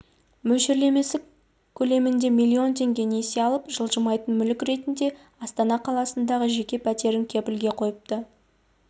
мөлшерлемесі көлемінде миллион теңге несие алып жылжымайтын мүлік ретінде астана қаласындағы жеке пәтерін кепілге қойыпты